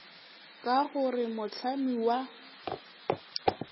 ka go re mohlami wa